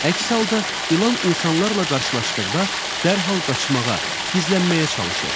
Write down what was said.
Əks halda ilan insanlarla qarşılaşdıqda dərhal qaçmağa, gizlənməyə çalışır.